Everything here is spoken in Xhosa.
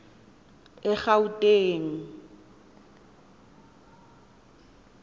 egauteng